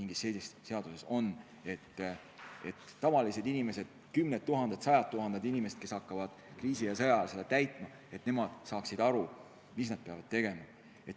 mingis teises seaduses on, et tavalised inimesed – kümned tuhanded, sajad tuhanded inimesed –, kes hakkavad kriisi- ja sõjaajal seda seadust täitma, saaksid aru, mida nad peavad tegema.